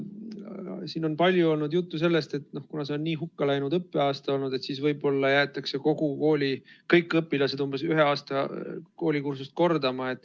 Siin on palju olnud juttu sellest, et kuna see on nii hukka läinud õppeaasta olnud, siis võib-olla jäetakse kogu kooli kõik õpilased umbes ühe aasta koolikursust kordama.